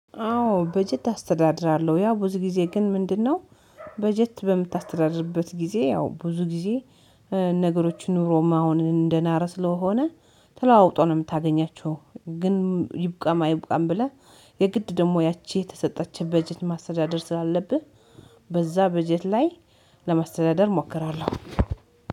አዎ በጀት አስተዳድራለ፥ ያው ብዙ ጊዜ ግን ምንድነው በጀት በምታስተዳድርበት ጊዜ ያው ብዙ ጊዜ ነገሮች ኑሮማ አሁን እንደናረ ስለሆነ ተለዋውጦ ነው የምታገኛቸው፤ ግን ይብቃማ አይብቃም ብለህ የግድ ደግሞ ያቺ የተሰጠችህ በጀት ማስተዳደር ስላለብህ በዛ በጀት ላይ ለማስተዳደር እሞክራለሁ።